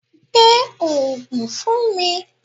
Gbé Ògùn fún mi.